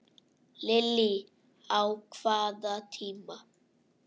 Lillý: Á hvaða tíma?